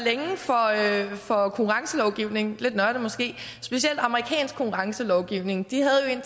for konkurrencelovgivning lidt nørdet måske specielt amerikansk konkurrencelovgivning de havde jo